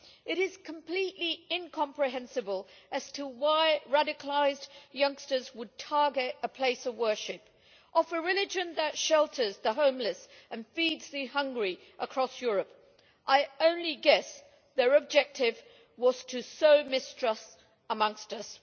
It is completely incomprehensible as to why radicalised youngsters would target a place of worship of a religion that shelters the homeless and feeds the hungry across Europe. I can only guess their objective was to sow mistrust amongst us.